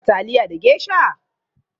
Kin dafa taliya da geisha?